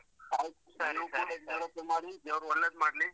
ಆಯ್ತು ನೀವೂ ಕೂಡ ಜಾಗ್ರತೆ ಮಾಡಿ ದೇವರು ಒಳ್ಳೇದ್ ಮಾಡ್ಲಿ.